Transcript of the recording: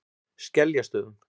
Skeljastöðum